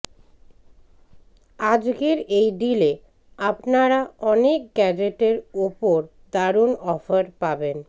আজকের এই ডিলে আপনারা অনেক গ্যাজেটের ওপর দারুন অফার পাবেন